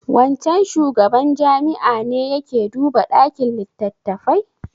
Wancan shugaban jami'a ne ya ke duba ɗakin littattafai?